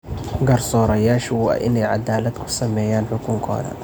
Garsoorayaashu waa in ay cadaalad ku sameeyaan xukunkooda.